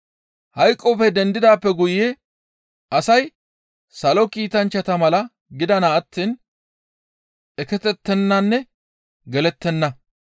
Hayqoppe dendidaappe guye asay salo kiitanchchata mala gidana attiin eketettenanne gelettenna.